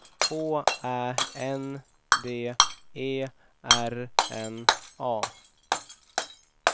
H Ä N D E R N A